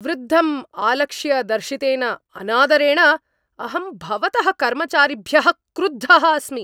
वृद्धम् आलक्ष्य दर्शितेन अनादरेण अहं भवतः कर्मचारिभ्यः क्रुद्धः अस्मि।